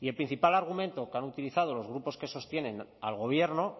y el principal argumento que han utilizado los grupos que sostienen al gobierno